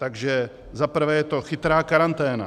Takže za prvé je to chytrá karanténa.